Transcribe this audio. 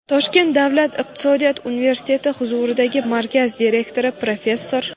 Toshkent davlat iqtisodiyot universiteti huzuridagi markaz direktori, professor;.